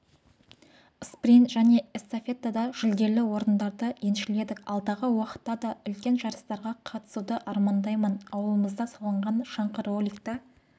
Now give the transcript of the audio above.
спринт және эстафетада жүлделі орындарды еншіледік алдағы уақытта да үлкен жарыстарға қатысуды армандаймын ауылымызда салынған шаңғы-роликті